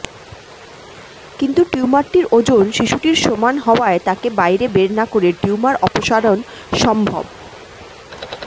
কিন্তু টিউমারটির ওজন শিশুটির সমান হওয়ায় তাকে বাইরে বের না করে টিউমার অপসারণ সম্ভব